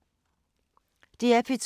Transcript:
DR P2